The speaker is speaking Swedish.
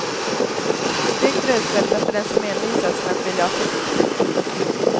Stekt rödspätta för den som envisas med att vilja ha fisk.